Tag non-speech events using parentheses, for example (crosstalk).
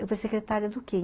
Eu (unintelligible) secretária do quê?